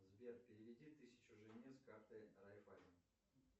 сбер переведи тысячу жене с карты райффайзен